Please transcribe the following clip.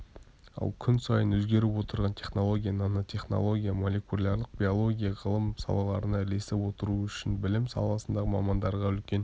ал күн сайын өзгеріп отырған технология нанотехнология молекулярлық биология ғылым салаларына ілесіп отыру үшін білім саласындағы мамандарға үлкен